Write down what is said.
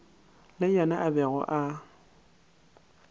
le yena a bego a